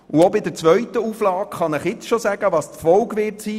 Auch bei der zweiten Auflage kann ich jetzt schon die Folge vorhersagen.